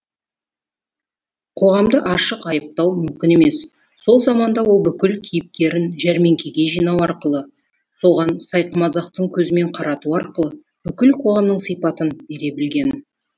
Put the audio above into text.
қоғамды ашық айыптау мүмкін емес сол заманда ол бүкіл кейіпкерін жәрмеңкеге жинау арқылы соған сайқымазақтың көзімен қарату арқылы бүкіл қоғамның сипатын бере білген